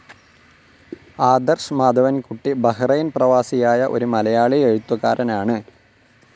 ആദർശ് മാധവൻകുട്ടി ബഹ്‌റൈൻ പ്രവാസിയായ ഒരു മലയാളി എഴുത്തുകാരനാണ്.